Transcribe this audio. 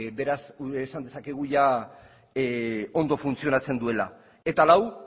beraz esan dezakegu ia ondo funtzionatzen duela eta lau